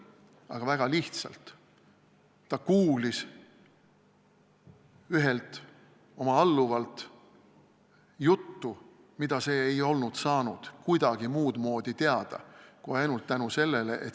Aga väga lihtsalt: ta kuulis ühelt oma alluvalt juttu, mida see ei oleks saanud muudmoodi kuidagi teada kui ainult tänu sellele.